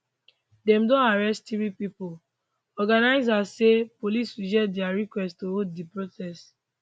dem don arrest three pipo organisers say police reject dia request to hold di protest